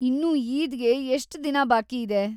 ಇನ್ನೂ ಈದ್‌ಗೆ ಎಷ್ಟ್ ದಿನ ಬಾಕಿ ಇದೆ?